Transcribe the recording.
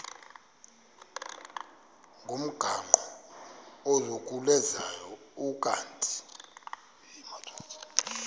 ngomgaqo ozungulezayo ukanti